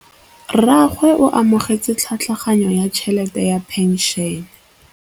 Rragwe o amogetse tlhatlhaganyô ya tšhelête ya phenšene.